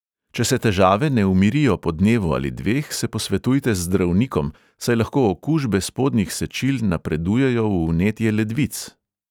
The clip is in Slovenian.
Če se težave ne umirijo po dnevu ali dveh, se posvetujte z zdravnikom, saj lahko okužbe spodnjih sečil napredujejo v vnetje ledvic.